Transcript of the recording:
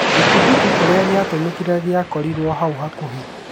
Gĩtuthũki kĩria gĩtiatũmĩkite gĩakorirwe hau hakuhi